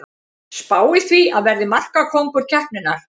Spái því að verði markakóngur keppninnar!